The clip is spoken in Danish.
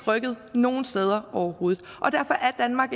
rykket nogen steder overhovedet og derfor er danmark